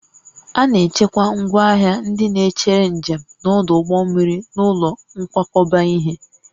A na-echekwa ngwaahịa ndị na-echere njem n'ọdụ ụgbọ mmiri n'ụlọ nkwakọba ihe